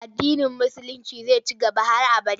Addinin Musulinci zai ci gaba har abada.